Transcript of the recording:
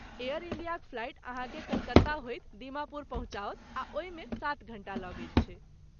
Air इंडियाक flight अहाँकेँ कलकत्ता होइत दीमापुर पहुँचाओत आ ओहिमे सात घण्टा लगैत छै।